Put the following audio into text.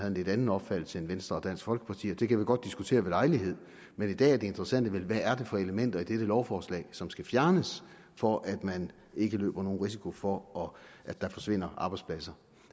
en lidt anden opfattelse end venstre og dansk folkeparti og det kan vi godt diskutere ved lejlighed men i dag er det interessante vel hvad det er for elementer i dette lovforslag som skal fjernes for at man ikke løber nogen risiko for at der forsvinder arbejdspladser